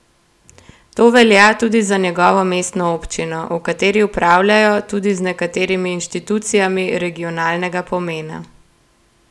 To velja tudi za njegovo mestno občino, v kateri upravljajo tudi z nekaterimi inštitucijami regionalnega pomena.